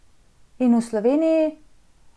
In v Sloveniji?